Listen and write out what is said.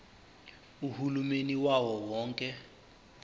uhulumeni wawo wonke